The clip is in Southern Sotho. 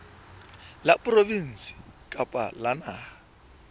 la provinse kapa la naha